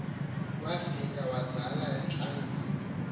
wafika wazala untlangwini